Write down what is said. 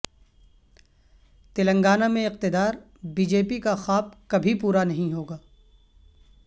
تلنگانہ میں اقتدار B J P کا خواب کبھی پورا نہیں ہوگا